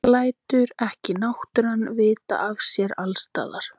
Lætur ekki náttúran vita af sér allsstaðar?